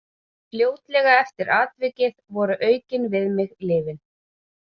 Fljótlega eftir atvikið voru aukin við mig lyfin.